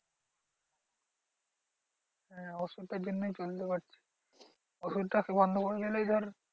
হ্যাঁ ওষুধটার জন্যই চলতে পারছি। ওষুধটা বন্ধ করে দিলেই ধর